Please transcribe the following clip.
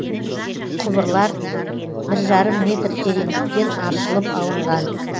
құбырлар бір жарым метр тереңдіктен аршылып алынған